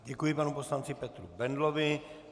Děkuji panu poslanci Petru Bendlovi.